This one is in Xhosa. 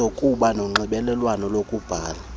zokuzoba nezonxibelelwano lokubhala